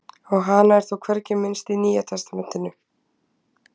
Á hana er þó hvergi minnst í Nýja testamentinu.